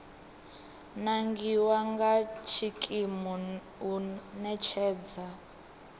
nangiwa nga tshikimu u ṋetshedza